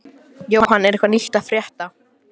Jóhann, er eitthvað nýtt að frétta?